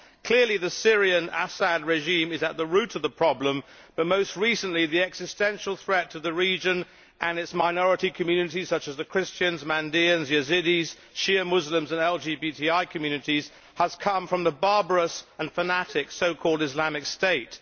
Clearly the Syrian Assad regime is at the root of the problem, but most recently the existential threat to the region and its minority communities, such as the Christians, Mandaeans, Yazidis, Shia Muslims and LGBTI communities, has come from the barbarous and fanatic so called Islamic State.